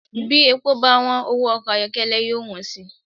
Bí epo báwọ́n, owó ọkọ ayọ́kẹ́lẹ́ yóò wọ́n sì